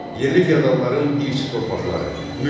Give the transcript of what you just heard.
Yerli fyodalların irsi torpaqları, mülk.